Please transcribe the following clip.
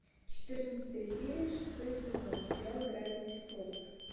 четырнадцатая серия шестой сезон сериал гравити фолз